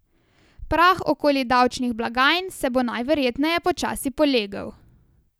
Prah okoli davčnih blagajn se bo najverjetneje počasi polegel.